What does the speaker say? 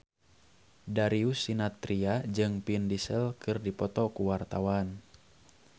Darius Sinathrya jeung Vin Diesel keur dipoto ku wartawan